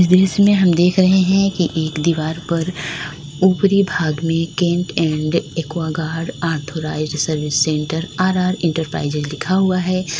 दृश्य में हम देख रहे है कि एक दीवार पर ऊपरी भाग में Kent and Aquaguard authorised service centre R R enterprises लिखा हुआ है।